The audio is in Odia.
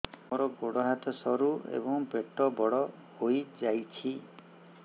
ମୋର ଗୋଡ ହାତ ସରୁ ଏବଂ ପେଟ ବଡ଼ ହୋଇଯାଇଛି